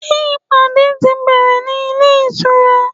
Ṣé ìpàdé ti bẹ̀rẹ̀ ní ilé ìtura?